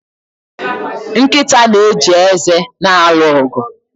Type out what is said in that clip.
Nkịta na-eji eze na-alụ ọgụ